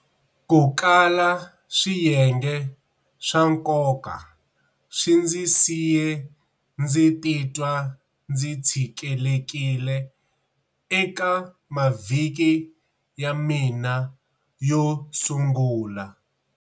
Ku kala swiyenge swa nkoka swi ndzi siye ndzi titwa ndzi tshikelekile eka mavhiki ya mina yo sungula.